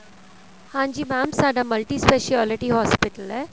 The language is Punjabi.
ਹਾਂਜੀ mam ਸਾਡਾ multi speciality hospital ਏ